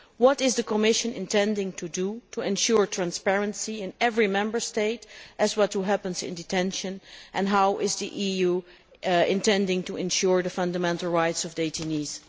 What does the Commission intend to do to ensure transparency in every Member State as to what happens in detention and how is the EU intending to ensure the fundamental rights of the detainees?